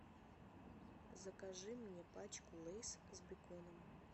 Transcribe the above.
закажи мне пачку лейс с беконом